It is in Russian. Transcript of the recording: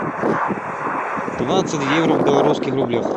двадцать евро в белорусских рублях